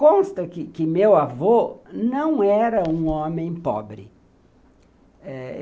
Consta que meu avô não era um homem pobre. Eh